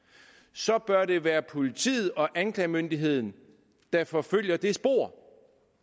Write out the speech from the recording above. så bør det være politiet og anklagemyndigheden der forfølger det spor